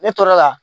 Ne tor'o la